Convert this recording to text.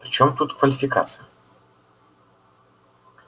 при чём тут квалификация